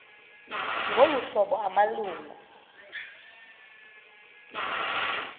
ngolu hlobo amalungu